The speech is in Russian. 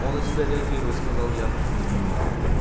он на тебя реагирует сказал я